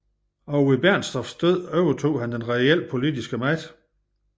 Og ved Bernstorffs død overtog han den reelle politiske magt